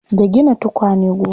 Da gina tukwane goma.